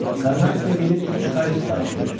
Karnatikə gedib üç kayut sifariş ver.